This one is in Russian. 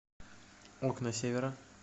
окна севера